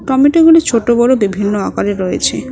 টমেটোগুলো ছোট বড় বিভিন্ন আকারে রয়েছে।